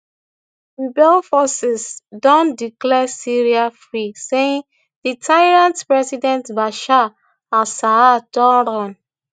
rebel forces don declare syria free saying di tyrant president bashar alassad don run